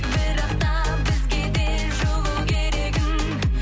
бірақ та бізге де жылу керегін